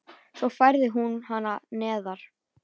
Svo færði hún hana neðar.